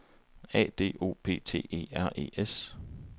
A D O P T E R E S